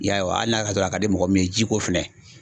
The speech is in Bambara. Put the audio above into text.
I y'a ye hali n'a y'a sɔrɔ a ka di mɔgɔ min ye jiko fɛnɛ.